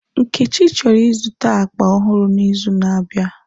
Nkechi chọrọ ịzụta akpa ọhụrụ n'izu na-abịa.